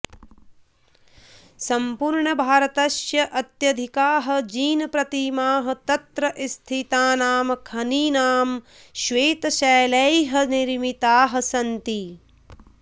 सम्पूर्णभारतस्य अत्यधिकाः जिनप्रतिमाः तत्र स्थितानां खनीनां श्वेतशैलैः निर्मिताः सन्ति